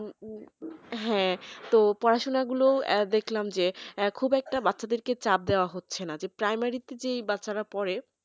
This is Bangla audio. হ্যাঁ তো পড়াশোনা গুল দেখলাম যে খুব একটা বাচ্চাদেরকে চাপ দেওয়া হচ্ছে ন যে primary যেই বাচ্চারা পড়ে